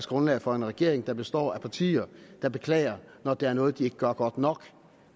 grundlag for en regering der består af partier der beklager når der er noget de ikke gør godt nok